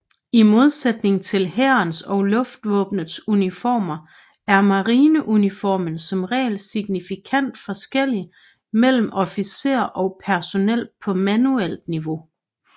I modsætning til hærens og luftvåbnets uniformer er marineuniformer som regel signifikant forskellige mellem officerer og personel på manuelt niveau